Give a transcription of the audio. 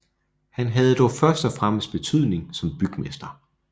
Han havde dog først og fremmest betydning som bygmester